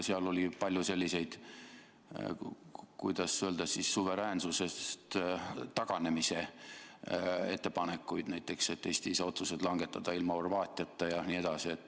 Seal oli palju selliseid, kuidas öelda, suveräänsusest taganemise ettepanekuid, näiteks et Eesti ei saa otsuseid langetada ilma Horvaatiata jne.